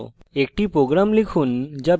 নির্দেশিত কাজ